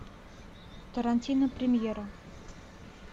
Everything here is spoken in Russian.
тарантино премьера